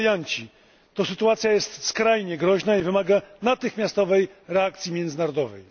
rebelianci, to sytuacja jest skrajnie groźna i wymaga natychmiastowej reakcji międzynarodowej.